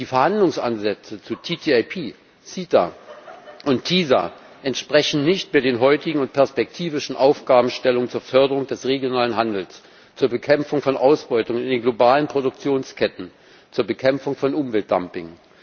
Die Verhandlungsansätze zu TTIP, CETA und TiSA entsprechen nicht mehr den heutigen und perspektivischen Aufgabenstellungen zur Förderung des regionalen Handels, zur Bekämpfung von Ausbeutung in den globalen Produktionsketten, zur Bekämpfung von Umweltdumping.